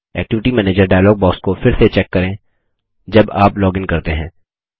activity manager dialog box को फिर से चेक करें जब आप लॉगिन करते हैं